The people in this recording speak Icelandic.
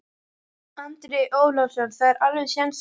Andri Ólafsson: Það er alveg séns þarna?